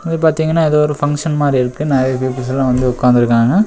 இது பாத்தீங்கனா எதோ ஒரு பங்க்ஷன் மாரி இருக்கு நெறைய பீப்பிள்ஸ்லா வந்து உக்காந்துருக்காங்க.